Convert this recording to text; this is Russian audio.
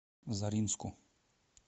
заринску